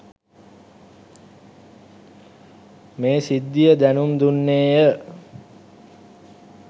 මේ සිද්ධිය දැනුම් දුන්නේය.